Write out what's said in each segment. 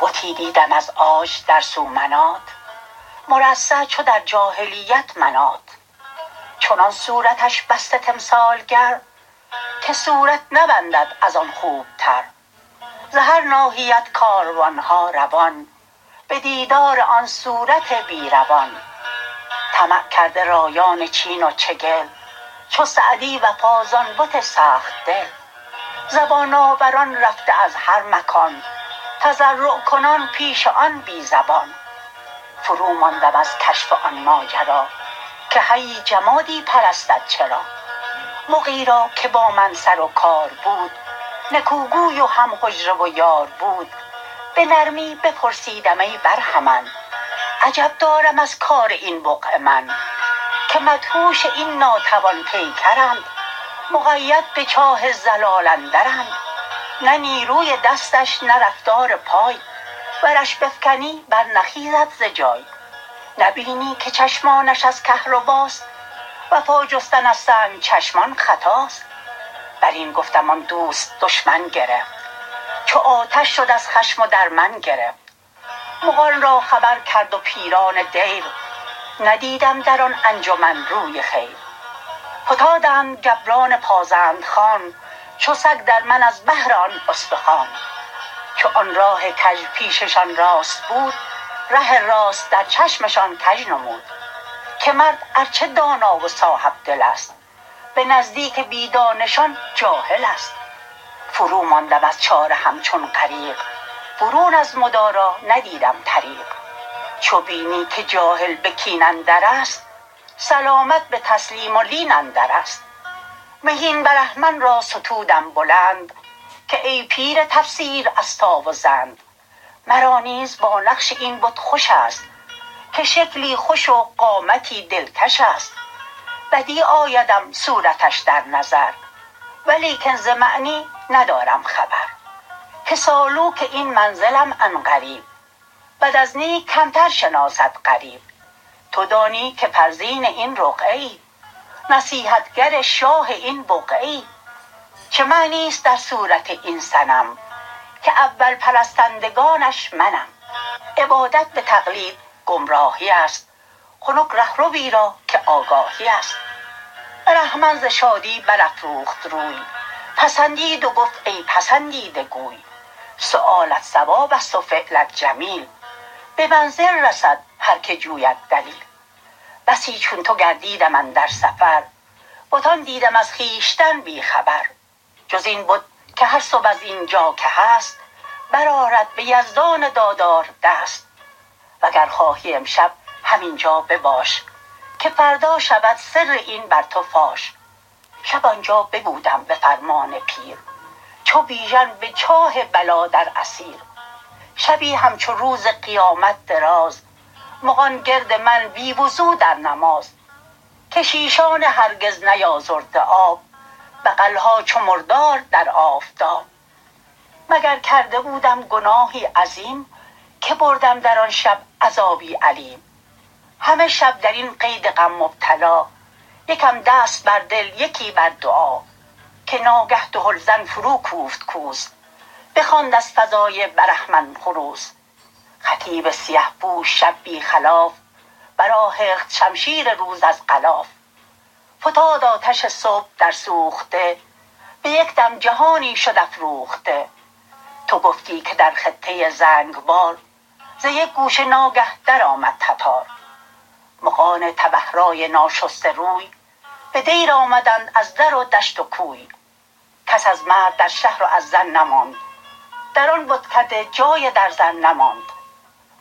بتی دیدم از عاج در سومنات مرصع چو در جاهلیت منات چنان صورتش بسته تمثالگر که صورت نبندد از آن خوبتر ز هر ناحیت کاروانها روان به دیدار آن صورت بی روان طمع کرده رایان چین و چگل چو سعدی وفا ز آن بت سخت دل زبان آوران رفته از هر مکان تضرع کنان پیش آن بی زبان فرو ماندم از کشف آن ماجرا که حیی جمادی پرستد چرا مغی را که با من سر و کار بود نکوگوی و هم حجره و یار بود به نرمی بپرسیدم ای برهمن عجب دارم از کار این بقعه من که مدهوش این ناتوان پیکرند مقید به چاه ضلال اندرند نه نیروی دستش نه رفتار پای ورش بفکنی بر نخیزد ز جای نبینی که چشمانش از کهرباست وفا جستن از سنگ چشمان خطاست بر این گفتم آن دوست دشمن گرفت چو آتش شد از خشم و در من گرفت مغان را خبر کرد و پیران دیر ندیدم در آن انجمن روی خیر فتادند گبران پازند خوان چو سگ در من از بهر آن استخوان چو آن راه کژ پیششان راست بود ره راست در چشمشان کژ نمود که مرد ار چه دانا و صاحبدل است به نزدیک بی دانشان جاهل است فرو ماندم از چاره همچون غریق برون از مدارا ندیدم طریق چو بینی که جاهل به کین اندر است سلامت به تسلیم و لین اندر است مهین برهمن را ستودم بلند که ای پیر تفسیر استا و زند مرا نیز با نقش این بت خوش است که شکلی خوش و قامتی دلکش است بدیع آیدم صورتش در نظر ولیکن ز معنی ندارم خبر که سالوک این منزلم عن قریب بد از نیک کمتر شناسد غریب تو دانی که فرزین این رقعه ای نصیحتگر شاه این بقعه ای چه معنی است در صورت این صنم که اول پرستندگانش منم عبادت به تقلید گمراهی است خنک رهروی را که آگاهی است برهمن ز شادی بر افروخت روی پسندید و گفت ای پسندیده گوی سؤالت صواب است و فعلت جمیل به منزل رسد هر که جوید دلیل بسی چون تو گردیدم اندر سفر بتان دیدم از خویشتن بی خبر جز این بت که هر صبح از اینجا که هست برآرد به یزدان دادار دست وگر خواهی امشب همینجا بباش که فردا شود سر این بر تو فاش شب آنجا ببودم به فرمان پیر چو بیژن به چاه بلا در اسیر شبی همچو روز قیامت دراز مغان گرد من بی وضو در نماز کشیشان هرگز نیازرده آب بغلها چو مردار در آفتاب مگر کرده بودم گناهی عظیم که بردم در آن شب عذابی الیم همه شب در این قید غم مبتلا یکم دست بر دل یکی بر دعا که ناگه دهل زن فرو کوفت کوس بخواند از فضای برهمن خروس خطیب سیه پوش شب بی خلاف بر آهخت شمشیر روز از غلاف فتاد آتش صبح در سوخته به یک دم جهانی شد افروخته تو گفتی که در خطه زنگبار ز یک گوشه ناگه در آمد تتار مغان تبه رای ناشسته روی به دیر آمدند از در و دشت و کوی کس از مرد در شهر و از زن نماند در آن بتکده جای درزن نماند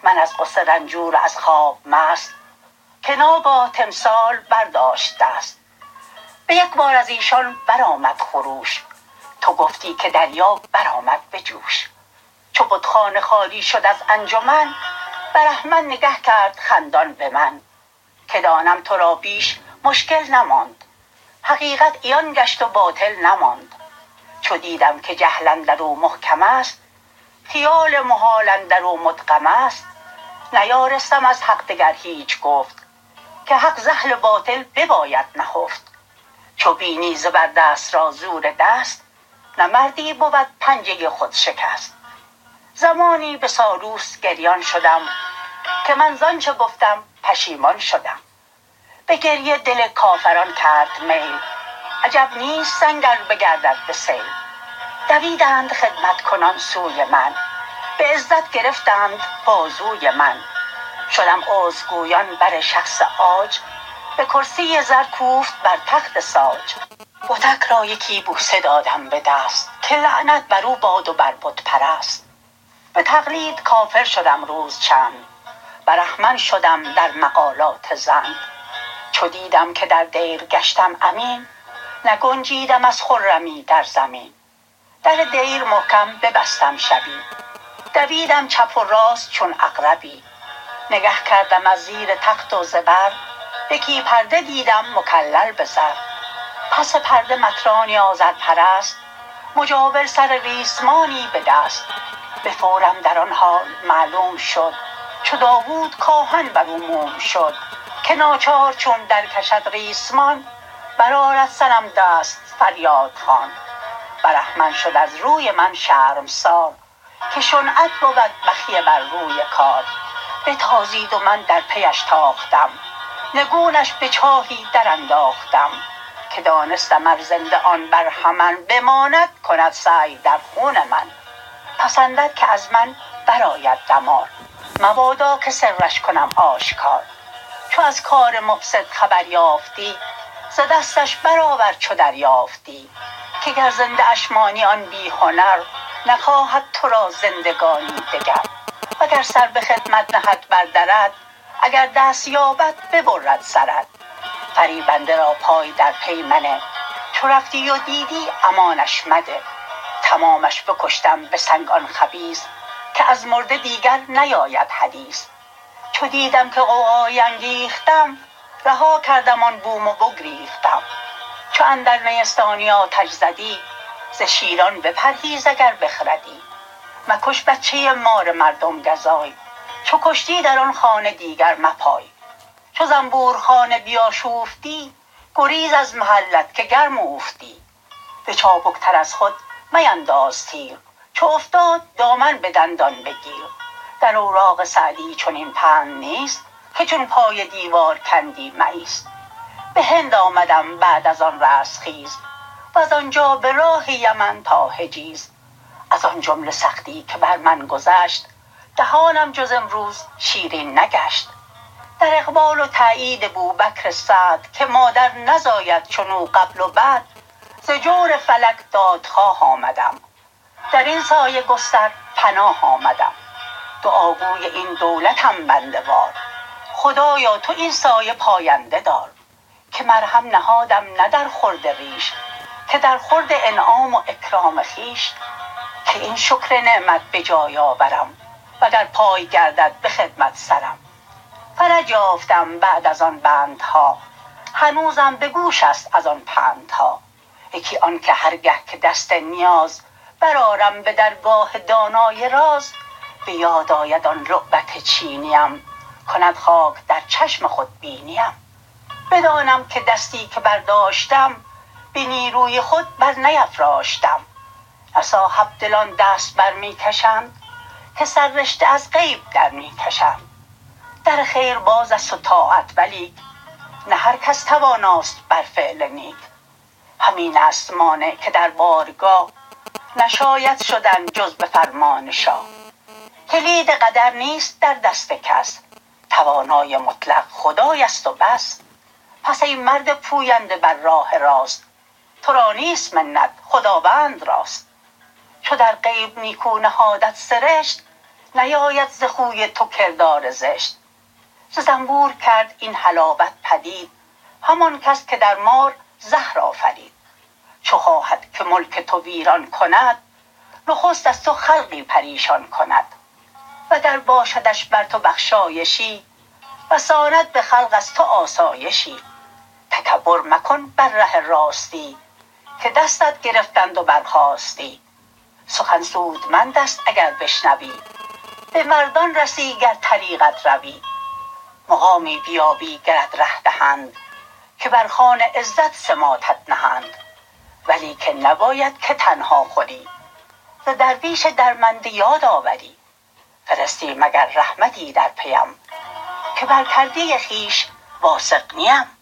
من از غصه رنجور و از خواب مست که ناگاه تمثال برداشت دست به یک بار از ایشان برآمد خروش تو گفتی که دریا بر آمد به جوش چو بتخانه خالی شد از انجمن برهمن نگه کرد خندان به من که دانم تو را بیش مشکل نماند حقیقت عیان گشت و باطل نماند چو دیدم که جهل اندر او محکم است خیال محال اندر او مدغم است نیارستم از حق دگر هیچ گفت که حق ز اهل باطل بباید نهفت چو بینی زبر دست را زور دست نه مردی بود پنجه خود شکست زمانی به سالوس گریان شدم که من زآنچه گفتم پشیمان شدم به گریه دل کافران کرد میل عجب نیست سنگ ار بگردد به سیل دویدند خدمت کنان سوی من به عزت گرفتند بازوی من شدم عذرگویان بر شخص عاج به کرسی زر کوفت بر تخت ساج بتک را یکی بوسه دادم به دست که لعنت بر او باد و بر بت پرست به تقلید کافر شدم روز چند برهمن شدم در مقالات زند چو دیدم که در دیر گشتم امین نگنجیدم از خرمی در زمین در دیر محکم ببستم شبی دویدم چپ و راست چون عقربی نگه کردم از زیر تخت و زبر یکی پرده دیدم مکلل به زر پس پرده مطرانی آذرپرست مجاور سر ریسمانی به دست به فورم در آن حال معلوم شد چو داود کآهن بر او موم شد که ناچار چون در کشد ریسمان بر آرد صنم دست فریادخوان برهمن شد از روی من شرمسار که شنعت بود بخیه بر روی کار بتازید و من در پیش تاختم نگونش به چاهی در انداختم که دانستم ار زنده آن برهمن بماند کند سعی در خون من پسندد که از من بر آید دمار مبادا که سرش کنم آشکار چو از کار مفسد خبر یافتی ز دستش برآور چو دریافتی که گر زنده اش مانی آن بی هنر نخواهد تو را زندگانی دگر وگر سر به خدمت نهد بر درت اگر دست یابد ببرد سرت فریبنده را پای در پی منه چو رفتی و دیدی امانش مده تمامش بکشتم به سنگ آن خبیث که از مرده دیگر نیاید حدیث چو دیدم که غوغایی انگیختم رها کردم آن بوم و بگریختم چو اندر نیستانی آتش زدی ز شیران بپرهیز اگر بخردی مکش بچه مار مردم گزای چو کشتی در آن خانه دیگر مپای چو زنبور خانه بیاشوفتی گریز از محلت که گرم اوفتی به چابک تر از خود مینداز تیر چو افتاد دامن به دندان بگیر در اوراق سعدی چنین پند نیست که چون پای دیوار کندی مایست به هند آمدم بعد از آن رستخیز وز آنجا به راه یمن تا حجیز از آن جمله سختی که بر من گذشت دهانم جز امروز شیرین نگشت در اقبال و تأیید بوبکر سعد که مادر نزاید چنو قبل و بعد ز جور فلک دادخواه آمدم در این سایه گستر پناه آمدم دعاگوی این دولتم بنده وار خدایا تو این سایه پاینده دار که مرهم نهادم نه در خورد ریش که در خورد انعام و اکرام خویش کی این شکر نعمت به جای آورم و گر پای گردد به خدمت سرم فرج یافتم بعد از آن بندها هنوزم به گوش است از آن پندها یکی آن که هر گه که دست نیاز برآرم به درگاه دانای راز به یاد آید آن لعبت چینیم کند خاک در چشم خودبینیم بدانم که دستی که برداشتم به نیروی خود بر نیفراشتم نه صاحبدلان دست بر می کشند که سررشته از غیب در می کشند در خیر باز است و طاعت ولیک نه هر کس تواناست بر فعل نیک همین است مانع که در بارگاه نشاید شدن جز به فرمان شاه کلید قدر نیست در دست کس توانای مطلق خدای است و بس پس ای مرد پوینده بر راه راست تو را نیست منت خداوند راست چو در غیب نیکو نهادت سرشت نیاید ز خوی تو کردار زشت ز زنبور کرد این حلاوت پدید همان کس که در مار زهر آفرید چو خواهد که ملک تو ویران کند نخست از تو خلقی پریشان کند وگر باشدش بر تو بخشایشی رساند به خلق از تو آسایشی تکبر مکن بر ره راستی که دستت گرفتند و برخاستی سخن سودمند است اگر بشنوی به مردان رسی گر طریقت روی مقامی بیابی گرت ره دهند که بر خوان عزت سماطت نهند ولیکن نباید که تنها خوری ز درویش درمنده یاد آوری فرستی مگر رحمتی در پیم که بر کرده خویش واثق نیم